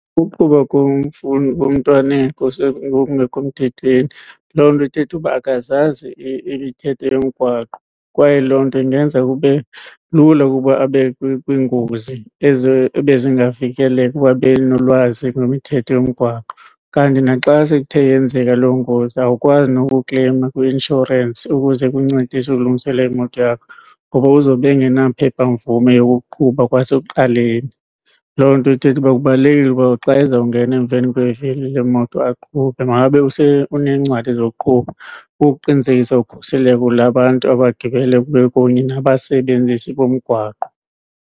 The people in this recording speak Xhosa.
Ukuqhuba komntwana ngokungekho mthethweni loo nto ithetha uba akazazi imithetho yomgwaqo kwaye loo nto ingenza kube lula ukuba abe kwingozi ebezingavikeleka ukuba ebenolwazi ngemithetho yomgwaqo. Kanti naxa sekuthe yenzeka lo ngozi awukwazi nokukleyima kwi-inshorensi ukuze ikuncedise ukulungiselela imoto yakho ngoba uzobe engenaphephamvume yokuqhuba kwasekuqaleni. Loo nto ithetha uba kubalulekile ukuba xa ezawungena emveni kwevili lemoto aqhube makabe unencwadi zokuqhuba ukuqinisekisa ukhuseleko lwabantu abagibela bekunye nabasebenzisi bomgwaqo.